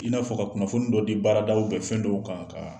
I n'a fɔ ka kunnafoni dɔ di baarada fɛn dɔw kan ka